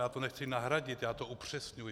Já to nechci nahradit, já to upřesňuji.